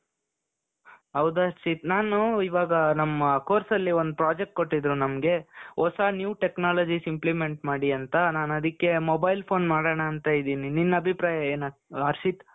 ಹೌದು ಹರ್ಷಿತ್, ನಾನು ಇವಾಗ ನಮ್ಮ course ಅಲ್ಲಿ ಒಂದು ಪ್ರಾಜೆಕ್ಟ್ ಕೊಟ್ಟಿದ್ರು ನಮ್ಗೆ ಹೊಸ new technologies implement ಮಾಡಿ ಅಂತ ನಾನ್ ಅದಕ್ಕೆ mobile phone ಮಾಡಣ ಅಂತ ಇದ್ದೀನಿ ನಿನ್ನ ಅಭಿಪ್ರಾಯ ಏನು ಹರ್ಷಿತ್ ?